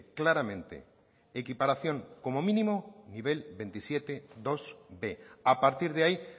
claramente equiparación como mínimo nivel veintisiete bib a partir de ahí